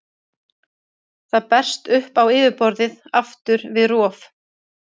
Það berst upp á yfirborðið aftur við rof.